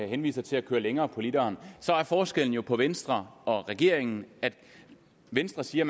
henviser til at køre længere på literen er forskellen jo på venstre og regeringen at venstre siger